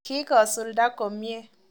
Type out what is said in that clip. Kikosulda komie.